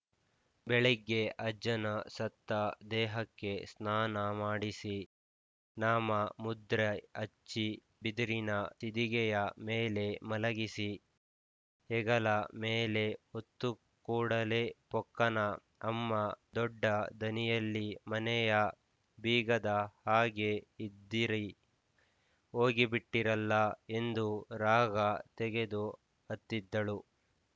ಬೆಳಿಗ್ಗೆ ಅಜ್ಜನ ಸತ್ತ ದೇಹಕ್ಕೆ ಸ್ನಾನಮಾಡಿಸಿ ನಾಮಮುದ್ರೆ ಹಚ್ಚಿ ಬಿದಿರಿನ ಸ ತಿದಿಗೆಯ ಮೇಲೆ ಮಲಗಿಸಿ ಹೆಗಲ ಮೇಲೆ ಹೊತ್ತು ಕೂಡಲೇ ಪೊಕ್ಕನ ಅಮ್ಮ ದೊಡ್ಡ ದನಿಯಲ್ಲಿ ಮನೆಯ ಬೀಗದ ಹಾಗೆ ಇದ್ದಿರಿ ಹೋಗಿಬಿಟ್ಟಿರಲ್ಲ ಎಂದು ರಾಗ ತೆಗೆದು ಅತ್ತಿದ್ದಳು